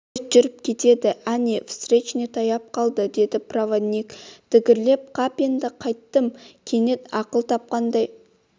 поезд жүріп кетеді әне встречный таяп қалды деді проводник дігірлеп қап енді қайттым кенет ақыл тапқандай